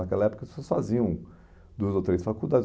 Naquela época, as pessoas faziam duas ou três faculdades.